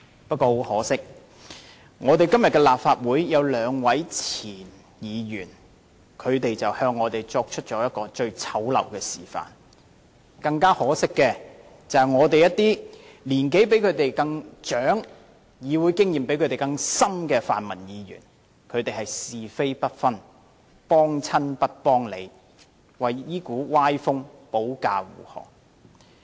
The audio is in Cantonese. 不過，很可惜，立法會有兩位前候任議員向我們作出了最醜陋的示範，更可惜的是，立法會內有一些年齡比他們長，議會資歷較他們深的泛民議員，是非不分，"幫親不幫理"，為這股歪風保駕護航。